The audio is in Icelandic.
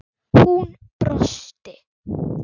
Hún brosti.